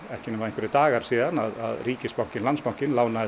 ekki nema einhverjir dagar síðan ríkisbankinn Landsbankinn lánaði